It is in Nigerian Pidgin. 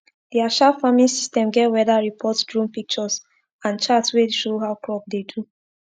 their sharp farming system get weather report drone pictures and chart wey show how crop dey do